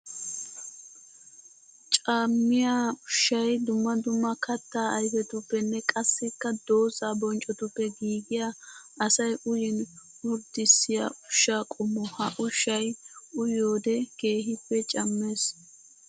Cammiya ushshay dumma dumma katta ayfetuppenne qassikka dooza bonccotuppe giigiya asay uyin orddissiya ushsha qommo. Ha ushshay uyiyoode keehippe cammees.